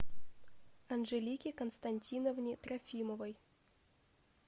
анжелике константиновне трофимовой